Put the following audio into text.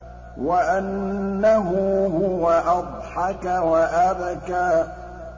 وَأَنَّهُ هُوَ أَضْحَكَ وَأَبْكَىٰ